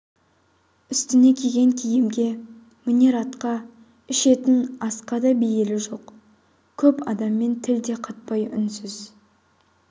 үстіне киген киімге мінер атқа ішетін асқа да бейілі жоқ көп адаммен тіл де қатпай үнсіз